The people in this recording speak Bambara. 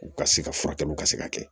U ka se ka furakɛliw ka se ka kɛ